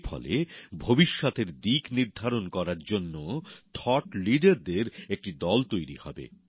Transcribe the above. এর ফলে ভবিষ্যৎ এর দিকনির্ধারন করার জন্য থট লিডারদের একটি দল তৈরি হবে